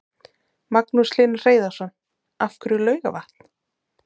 Magnús Hlynur Hreiðarsson: Af hverju Laugarvatn?